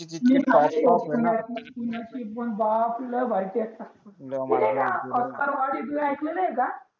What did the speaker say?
पुण्याची पण बाप लै भारी टाकतात ऐकल नाही एका